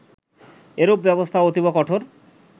এরূপ ব্যবস্থা অতীব কঠোর